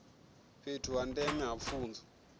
fhethu ha ndeme ha pfunzo